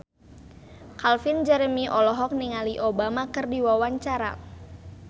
Calvin Jeremy olohok ningali Obama keur diwawancara